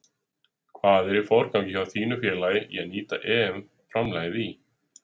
Hvað er í forgangi hjá þínu félagi í að nýta EM framlagið í?